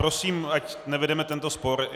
Prosím, ať nevedeme tento spor.